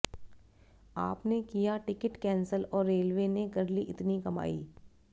आपने किया ticket cancel और रेलवे ने कर ली इतनी कमाई